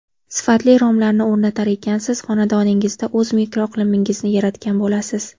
Sifatli romlarni o‘rnatar ekansiz, xonadoningizda o‘z mikroiqlimingizni yaratgan bo‘lasiz.